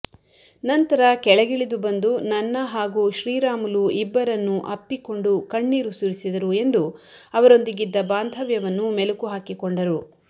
ನಂತರ ಕೆಳಗಿಳಿದು ಬಂದು ನನ್ನ ಹಾಗೂ ಶ್ರೀರಾಮುಲು ಇಬ್ಬರನ್ನೂ ಅಪ್ಪಿಕೊಂಡು ಕಣ್ಣೀರು ಸುರಿಸಿದರು ಎಂದು ಅವರೊಂದಿಗಿದ್ದ ಬಾಂಧವ್ಯವನ್ನು ಮೆಲುಕು ಹಾಕಿಕೊಂಡರು